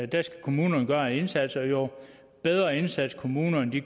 der skal kommunerne gøre en indsats og jo bedre en indsats kommunerne